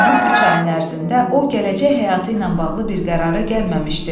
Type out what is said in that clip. Bu üç ayın ərzində o gələcək həyatı ilə bağlı bir qərara gəlməmişdi.